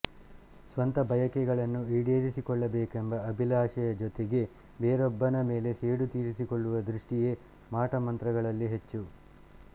ಸ್ವಂತ ಬಯಕೆಗಳನ್ನು ಈಡೇರಿಸಿಕೊಳ್ಳಬೇಕೆಂಬ ಅಭಿಲಾಷೆಯ ಜೊತೆಗೆ ಬೇರೊಬ್ಬನ ಮೇಲೆ ಸೇಡು ತೀರಿಸಿಕೊಳ್ಳುವ ದೃಷ್ಟಿಯೇ ಮಾಟಮಂತ್ರಗಳಲ್ಲಿ ಹೆಚ್ಚು